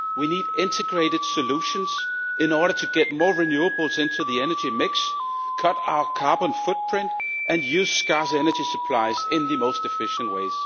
We need integrated solutions in order to get more renewables into the energy mix, cut our carbon footprint and use scarce energy supplies in the most efficient way.